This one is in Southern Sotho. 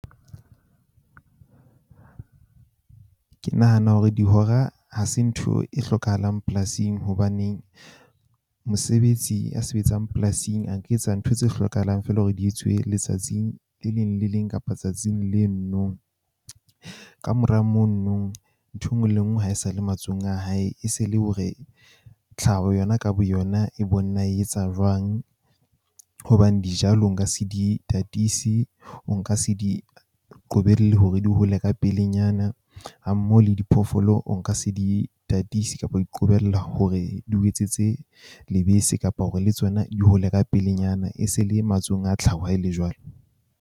Ke nahana hore dihora ha se ntho e hlokahalang polasing hobaneng mosebetsi ya sebetsang polasing a ka etsa ntho tse hlokahalang feela hore di etsuwe letsatsing le le leng kapa tsatsing leno no. Kamora mono ntho e nngwe le e nngwe ha e sa le matsohong a hae, e se le hore tlhaho yona ka boyona e bone na e etsa jwang. Hobane dijalo nka se di tatise. O nka se di qobelle hore di hole ka pelenyana. Ha mmoho le diphoofolo, o nka se di tatise kapa ho di qobella hore di o etsetse lebese kapa hore le tsona di hole ka pelenyana. E se le matsohong a tlhaho ha e le jwalo.